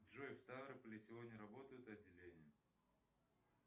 джой в ставрополе сегодня работают отделения